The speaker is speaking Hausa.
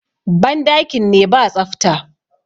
bandakin ne ba tsafta